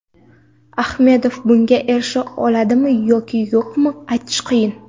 Ahmedov bunga erisha oladimi yoki yo‘q, aytish qiyin.